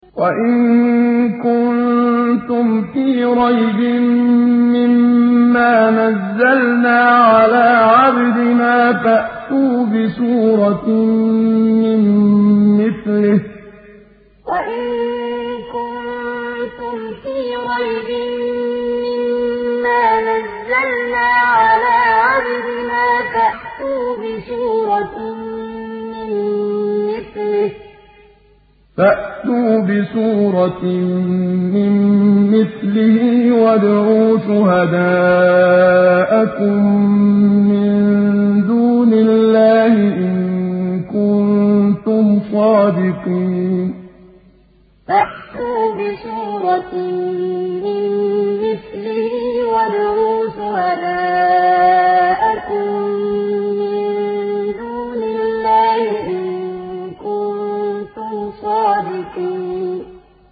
وَإِن كُنتُمْ فِي رَيْبٍ مِّمَّا نَزَّلْنَا عَلَىٰ عَبْدِنَا فَأْتُوا بِسُورَةٍ مِّن مِّثْلِهِ وَادْعُوا شُهَدَاءَكُم مِّن دُونِ اللَّهِ إِن كُنتُمْ صَادِقِينَ وَإِن كُنتُمْ فِي رَيْبٍ مِّمَّا نَزَّلْنَا عَلَىٰ عَبْدِنَا فَأْتُوا بِسُورَةٍ مِّن مِّثْلِهِ وَادْعُوا شُهَدَاءَكُم مِّن دُونِ اللَّهِ إِن كُنتُمْ صَادِقِينَ